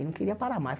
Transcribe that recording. E não queria parar mais.